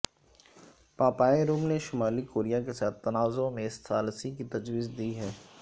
پاپائے روم نےشمالی کوریا کے ساتھ تنازعے میں ثالثی کی تجویز دی ہے